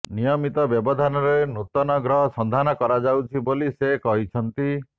ନିୟମିତ ବ୍ୟବଧାନରେ ନୂତନ ଗ୍ରହ ସନ୍ଧାନ କରାଯାଉଛି ବୋଲି ସେ କହିଛନ୍ତି